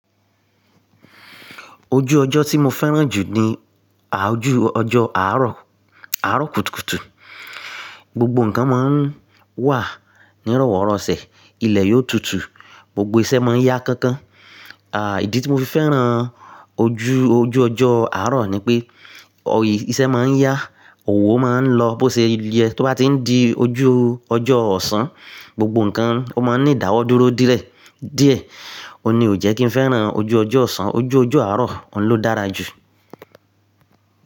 Ojú ọjọ́ tí mo fẹ́ràn jù ni ojú ọjọ́ àárọ̀, àárọ̀ kùtùkùtù. Gbogbo nǹkan máa ń wà ní ròwórosẹ̀, ilẹ̀ yóò tutù, gbogbo iṣẹ́ máa ń yá kánkán. À, ìdí tí mo fi fẹ́ràn ojú, ojú ọjọ́ àárọ̀ ni pé iṣẹ́ máa ń yá, òwò máa ń lọ bó ṣe o ye, tó bá ti ń di ojú ọjọ́ ọ̀sán, gbogbo nǹkan ó máa ń ní ìdáwọ́ dúró díẹ̀, ó ní ò jẹ́ kí n fẹ́ràn ojú ọjọ́ ọ̀sán. Ojú ọjọ́ àárọ̀, òun ló dára jù.